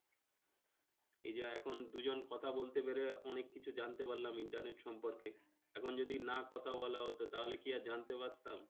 এই যা এখন দুজন কথা বলতে পেরে অনেক কিছু জানতে পারলাম internet সম্পর্কে। এখন যদি না কথা বলা হতো, তাহলে কি আর জানতে পারতাম?